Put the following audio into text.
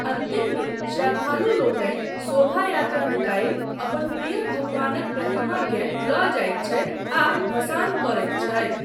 अन्तिम दिन श्रद्धालुलोकनि शोभायात्रा निकालि अपन प्रिय भगवानक प्रतिमाकेँ लऽ जाइत छथि आ भसान करैत छथि।